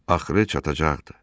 Axırı çatacaqdı.